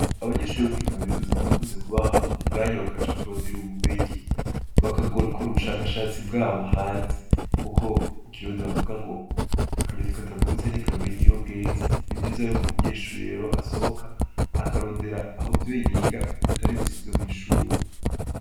Abanyeshure bo muri kaminuza barakunze kubaha umwanya bakaja kurondera ubumenyi, bagakora ubushakashatsi bwabo hanze, kuko mu kirundi bavuga ngo akanyoni katagurutse ntikamenya iyo bweze. Ni vyiza yuko umunyeshure rero asohoka, akarondera aho ivyo yiga atari gusa ivyo mw'ishure.